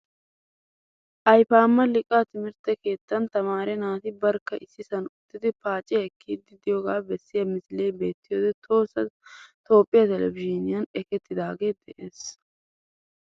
Ayfama liiqaa timirtte keettan tamaare naati barkka issisan uttidi paaciyaa ekkidi deiyoga beesiyaa misile beetidoy tohossa toophphiyaa televzhiniuyan ekkettidage de'ees.